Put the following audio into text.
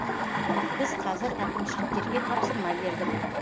біз қазір әкімшіліктерге тапсырма бердік